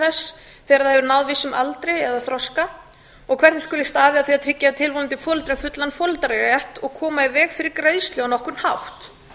þegar það hefur náð vissum aldri eða þroska og hvernig skuli staðið að því að tryggja tilvonandi foreldrum fullan foreldrarétt og koma í veg fyrir greiðslu á nokkurn hátt